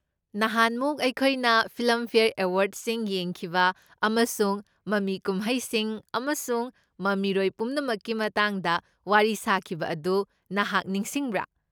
ꯅꯍꯥꯟꯃꯨꯛ ꯑꯩꯈꯣꯏꯅ ꯐꯤꯜꯝꯐꯦꯌꯔ ꯑꯦꯋꯥꯔ꯭ꯗꯁꯤꯡ ꯌꯦꯡꯈꯤꯕ ꯑꯃꯁꯨꯡ ꯃꯃꯤ ꯀꯨꯝꯍꯩꯁꯤꯡ ꯑꯃꯁꯨꯡ ꯃꯃꯤꯔꯣꯏ ꯄꯨꯝꯅꯃꯛꯀꯤ ꯃꯇꯥꯡꯗ ꯋꯥꯔꯤ ꯁꯥꯈꯤꯕ ꯑꯗꯨ ꯅꯍꯥꯛ ꯅꯤꯡꯁꯤꯡꯕ꯭ꯔꯥ?